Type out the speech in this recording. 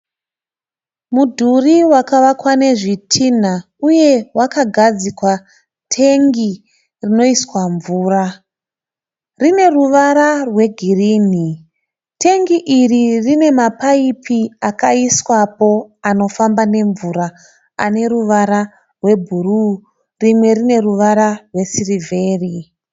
Mudhuri wakavakwa nezvitinha uye wakagadzikwa tengi rinoiswa mvura. Rine ruvara rwegirini. Tengi iri rine mapaipi akaiswapo anofamba nemvura ane ruvara rwebhuruu rimwe rine ruvara rwesirivheri.